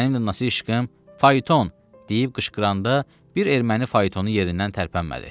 Mən Nəsihiqim "Fayton!" deyib qışqıranda bir erməni faytonu yerindən tərpənmədi.